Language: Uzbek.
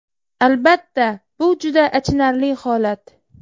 Albatta bu juda achinarli holat.